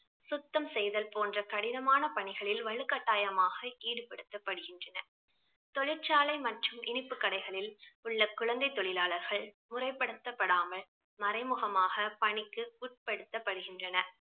சுத்தம் செய்தல் போன்ற கடினமான பணிகளில் வலுக்கட்டாயமாக ஈடுபடுத்தப்படுகின்றனர் தொழிற்சாலை மற்றும் இனிப்பு கடைகளில் உள்ள குழந்தை தொழிலாளர்கள் முறைப்படுத்தப்படாமல் மறைமுகமாக பணிக்கு உட்படுத்தப்படுகின்றனர்